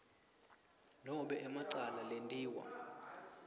nobe emacala lentiwa